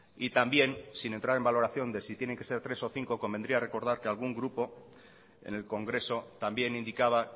y también sin entrar en valoración de si tienen que ser tres o cinco convendría recordar que algún grupo en el congreso también indicaba